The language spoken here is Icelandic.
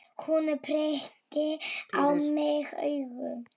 Hún pírir á mig augun.